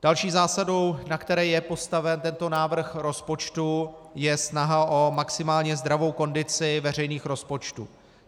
Další zásadou, na které je postaven tento návrh rozpočtu, je snaha o maximálně zdravou kondici veřejných rozpočtů.